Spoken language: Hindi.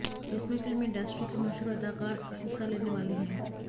जिसमे फिल्म इंडस्ट्री के मशहूर अदाकार हिस्सा लेने वाले हैं